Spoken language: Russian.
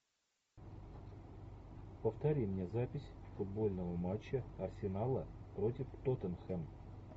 повтори мне запись футбольного матча арсенала против тоттенхэм